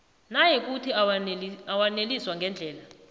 nayikuthi awaneliswa ngendlela